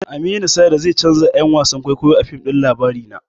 Aminu Saira zai canja 'yan wasan kwaikwayo a fim ɗin labarina.